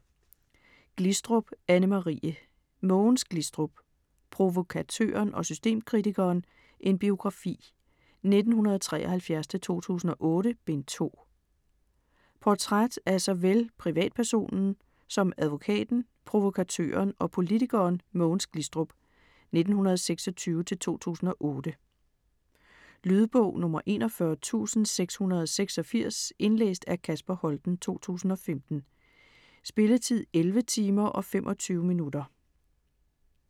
Glistrup, Anne-Marie: Mogens Glistrup: Provokatøren og systemkritikeren: en biografi - 1973-2008: Bind 2 Portræt af såvel privatpersonen som advokaten, provokatøren og politikeren Mogens Glistrup (1926-2008). Lydbog 41686 Indlæst af Kasper Holten, 2015. Spilletid: 11 timer, 25 minutter.